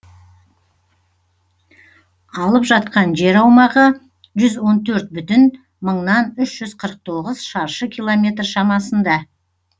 алып жатқан жер аумағы жүз он төрт бүтін мыңнан үш жүз қырық тоғыз шаршы километр шамасында